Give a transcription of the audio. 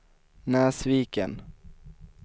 Näsviken